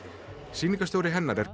sýningarstjóri hennar er